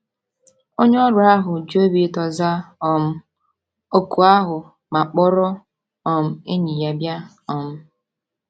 Onye ọrụ ahụ ji obi ụtọ zaa um òkù ahụ ma kpọrọ um enyi ya bịa um.